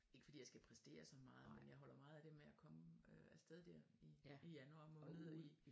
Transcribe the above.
Ikke fordi jeg skal præstere så meget men jeg holder meget af det med at komme øh afsted dér i i januar måned